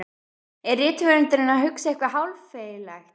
Er rithöfundurinn að hugsa eitthvað háfleygt?